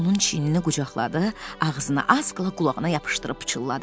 Onun çiynini qucaqladı, ağzını az qala qulağına yapışdırıb pıçıltı ilə dedi.